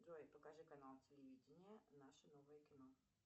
джой покажи канал телевидения наше новое кино